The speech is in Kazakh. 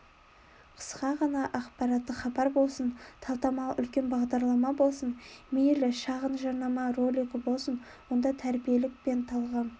қысқа ғана ақпараттық хабар болсын талдамалы үлкен бағдарлама болсын мейлі шағын жарнама ролигі болсын онда тәрбиелік пен талғам